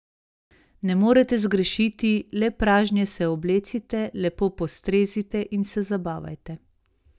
Ne morete zgrešiti, le pražnje se oblecite, lepo postrezite in se zabavajte.